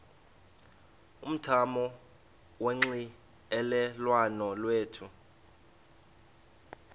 umthamo wonxielelwano lwethu